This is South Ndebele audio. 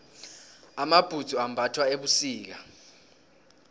amabhudzu ambathwa ebusika